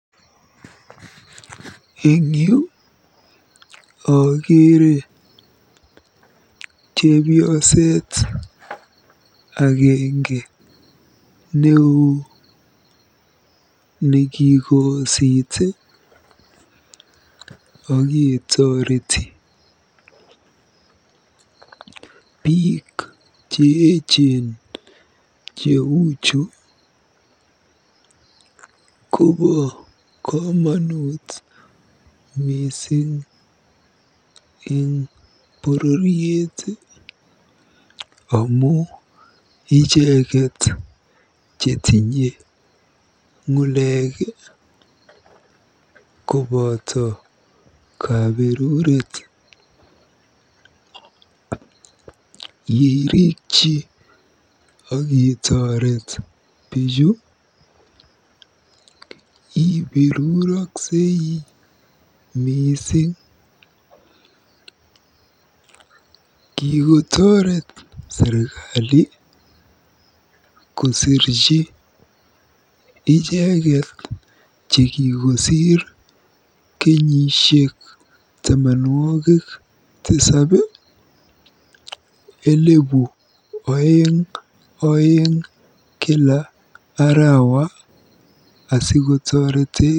Eng yu akere chepyoset agenge neoo nekikoosit oketoreti. Biik cheechen cheuchu kobo komonut mising eng bororiet amu icheket chetinye ng'ulek koboto kaberuret. Yeirikyi akitoret bichu iberuroksei mising. Kikotoret serikali kosirchi icheket chekikosiir kenyisiek tamanwogik tisab siling elebu oeng oeng kila arawa asikotoretekei.